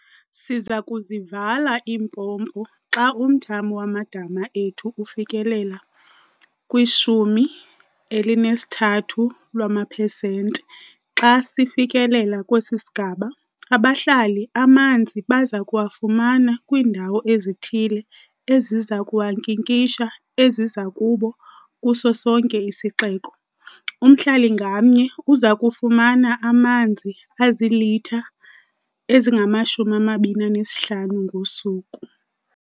"Siza kuzivala iimpompo xa umthamo wamadama ethu ufikelela kwi-13 lwamaphesenti. Xa sifikilele kwesi sigaba, abahlali amanzi baza kuwafumana kwiindawo ezithile eziza kuwankinkisha eziza kuba kuso sonke isixeko. Umhlali ngamnye uza kufumana amanzi azilitha ezingama-25 ngosuku."